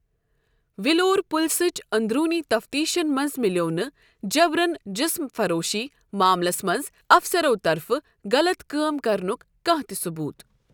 ولور پولسٕچ اندروٗنی تفتیشن منٛز مِلٮ۪و نہٕ جبرَن جسم فروشی معاملَس منٛز افسرَو طرفہٕ غلط کٲم کرنُک کانٛہہ تہِ ثوبوٗت۔